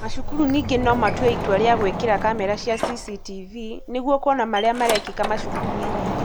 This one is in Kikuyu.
macukuru ningĩ no matue itua ria gwĩkĩra kamera cia CCTV nĩguo kũona maria marekĩka macukuru-inĩ.